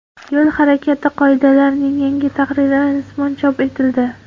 Yo‘l harakati qoidalarining yangi tahriri rasman chop etildi.